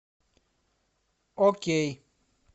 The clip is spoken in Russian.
окей